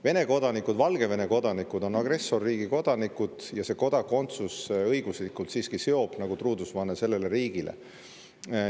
Vene kodanikud ja Valgevene kodanikud on agressorriigi kodanikud ja kodakondsus õiguslikult siiski seob nagu truudusevanne sellele riigile.